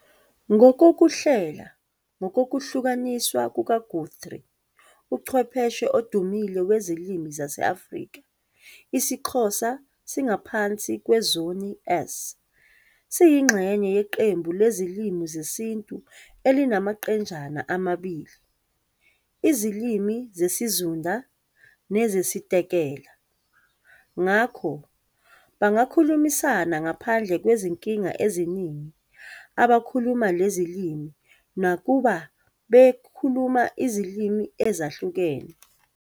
Ngokokuhlela - ngokokuhlukaniswa kukaGuthrie, uchwepheshe odumile wezilimi zase-Afrika, isiXhosa singaphansi kwezoni S. Siyingxenye yeqembu leZilimi zesiNtu elinamaqenjana amabili- iziLimi zesiZunda nezesiTekela. Ngakho, bangakhulumisana ngaphandle kwezinkinga eziningi abakhuluma lezi limi nakuba bekhuluma izilimi ezahlukene.